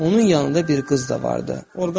Onun yanında bir qız da vardı.